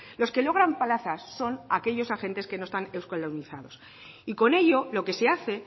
los que logran plazas son aquellos agentes que no están euskaldunizados y con ello lo que se hace